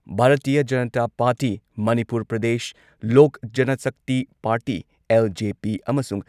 Bharatiya Janata party, Manipur Pradesh, Lok Janshakti party LJP ꯑꯃꯁꯨꯡ